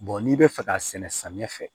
n'i bɛ fɛ k'a sɛnɛ samiyɛ fɛ